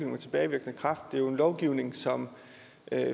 med tilbagevirkende kraft det er jo en lovgivning som